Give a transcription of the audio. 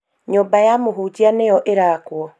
Nyũmba ya mũhunjia nĩyo ĩrakwo.